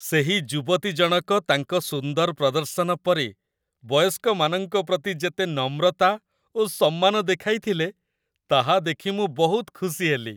ସେହି ଯୁବତୀ ଜଣକ ତାଙ୍କ ସୁନ୍ଦର ପ୍ରଦର୍ଶନ ପରେ ବୟସ୍କମାନଙ୍କ ପ୍ରତି ଯେତେ ନମ୍ରତା ଓ ସମ୍ମାନ ଦେଖାଇଥିଲେ, ତାହା ଦେଖି ମୁଁ ବହୁତ ଖୁସି ହେଲି।